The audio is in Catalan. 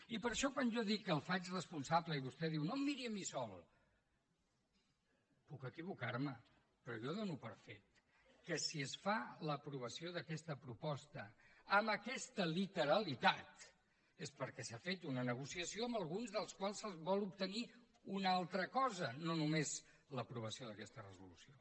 i per això quan jo dic que el faig responsable i vostè diu no em miri a mi sol puc equivocarme però jo dono per fet que si es fa l’aprovació d’aquesta proposta amb aquesta literalitat és perquè s’ha fet una negociació amb alguns dels quals es vol obtenir una altra cosa no només l’aprovació d’aquesta resolució